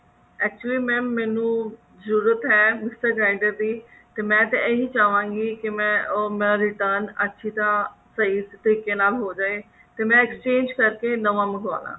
actually mam ਮੈਨੂੰ ਜਰੂਰਤ ਹੈ mixer grinder ਦੀ ਤੇ ਮੈਂ ਤਾਂ ਇਹੀ ਚਾਹਵਾਂ ਗਈ ਕੀ ਮੈਂ ਉਹ return ਅੱਛੀ ਤਰਾਂ ਤਰੀਕੇ ਨਾਲ ਹੋਜੇ ਤੇ ਮੈਂ exchange ਕਰਕੇ ਨਵਾਂ ਮਨਵਾਉਣ